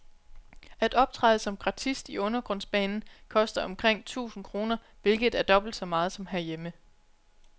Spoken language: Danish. At optræde som gratist i undergrundsbanen koster omkring tusind kr, hvilket er dobbelt så meget som herhjemme.